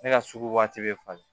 Ne ka sugu waati bɛ falen